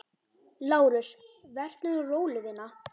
LÁRUS: Vertu nú róleg, vina.